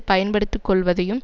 பயன்படுத்துக் கொள்ளுவதையும்